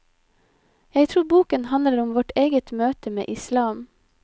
Jeg tror boken handler om vårt eget møte med islam.